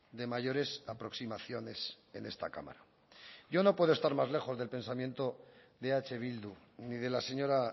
de mayores aproximaciones en esta cámara yo no puedo estar más lejos del pensamiento de eh bildu ni de la señora